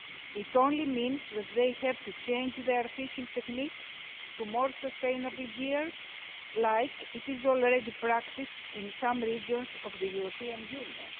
It only means that they have to change their fishing technique to more sustainable gears, as is already practised in some regions of the European Union.